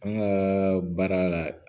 An ka baara la